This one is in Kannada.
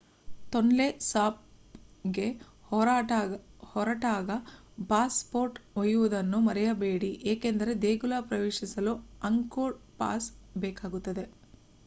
ತೊನ್ಲೆ ಸಾಪ್ಗೆ ಹೊರಟಾಗ ಪಾಸ್ ಪೋರ್ಟ್ ಒಯ್ಯುವುದನ್ನು ಮರೆಯಬೇಡಿ ಏಕೆಂದರೆ ದೇಗುಲ ಪ್ರವೇಶಿಸಲು ಅಂಗ್ಕೋರ್ ಪಾಸ್ ಬೇಕಾಗುತ್ತದೆ